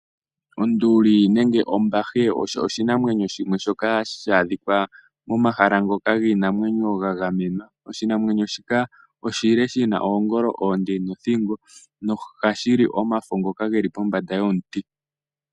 Onduli nenge ombahe osho oshinamwenyo shoka hashi adhika momahala ngoka giinamwenyo ga gamenwa. Oshinamwenyo shika oshile shi na oongolo oonde nothingo nohashi li omafo ngoka ge li pombanda yomuti.